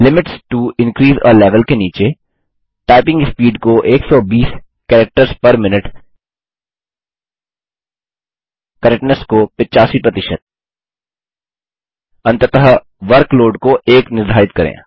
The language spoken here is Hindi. limits to increase a level के नीचे टाइपिंग स्पीड को 120 कैरेक्टर्स पेर मिन्यूट करेक्टनेस को 85 अंततः वर्कलोड को 1 निर्धारित करें